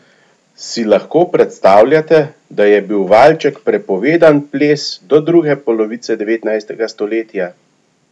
Si lahko predstavljate, da je bil valček prepovedan ples do druge polovice devetnajstega stoletja?